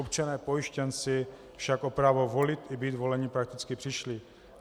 Občané pojištěnci však o právo volit i být voleni prakticky přišli.